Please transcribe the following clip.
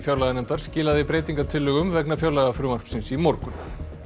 fjárlaganefndar skilaði breytingartillögum vegna fjárlagafrumvarpsins í morgun